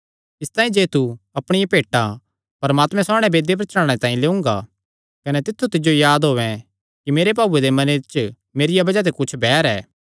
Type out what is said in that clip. इसतांई जे तू अपणिया भेंटा परमात्मे सामणै वेदी पर चढ़ाणे तांई लेयोंगा कने तित्थु तिज्जो याद औयें कि मेरे भाऊये दे मने च मेरिया बज़ाह ते कुच्छ बैर ऐ